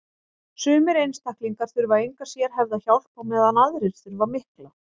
sumir einstaklingar þurfa enga sérhæfða hjálp á meðan aðrir þurfa mikla